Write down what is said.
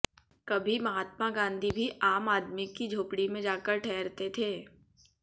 कभी महात्मा गांधी भी आम आदमी की झोंपड़ी में जाकर ठहरते थे